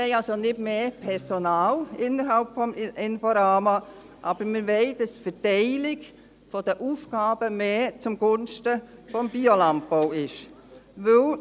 Wir wollen somit nicht mehr Personal im Inforama beschäftigen, aber wir wollen, dass die Verteilung der Aufgaben vermehrt zugunsten des Biolandbaus erfolgt.